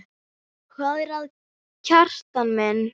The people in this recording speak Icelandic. Hvað er að, Kjartan minn?